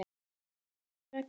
Guðný: Hvers vegna?